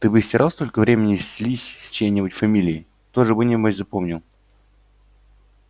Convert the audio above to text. ты бы стирал столько времени слизь с чьей-нибудь фамилии тоже бы небось запомнил